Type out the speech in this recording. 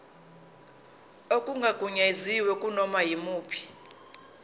okungagunyaziwe kunoma yimuphi